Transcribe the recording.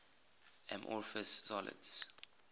amorphous solids